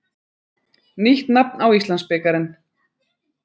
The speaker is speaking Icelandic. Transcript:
Nýtt nafn á Íslandsbikarinn.